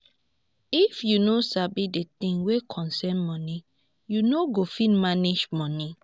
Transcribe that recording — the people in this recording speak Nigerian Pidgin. if yu no sabi di things wey concern moni yu no go fit manage moni